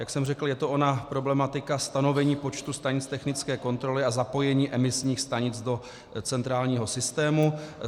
Jak jsem řekl, je to ona problematika stanovení počtu stanic technické kontroly a zapojení emisních stanic do centrálního systému.